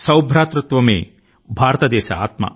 భారతదేశం యొక్క భావన సోదరభావం